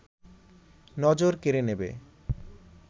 নজর কেড়ে নেবে